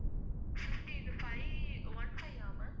fifty five~ one five ah ma'am